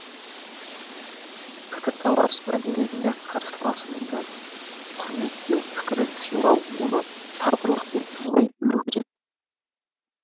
пікірталас мәдениетінде қарсыласыңды құрметтеу пікірін сыйлау оны сабырлықпен тыңдай білу керек